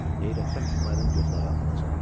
Heyrətdən İsmayılın gözləri alacalandı.